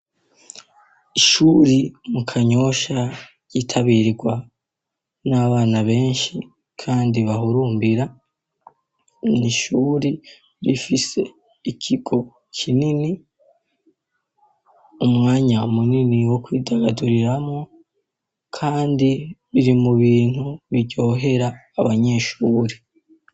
Ishuri mu kanyosha gitabirwa n'abana benshi kandi bahurumbira ni ishuri bifise ikigo kinini umwanya munini wo kwidagaduriramwo kandi biri mubintu biryohera abanyeshuri.